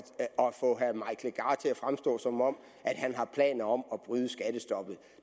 fremstå som om han har planer om at bryde skattestoppet